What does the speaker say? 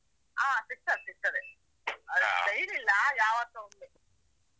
ಹಾ ಸಿಗ್ತದೆ ಸಿಗ್ತದೆ ಆದ್ರೆ daily ಇಲ್ಲ, ಯಾವತ್ತೋ ಒಮ್ಮೆ.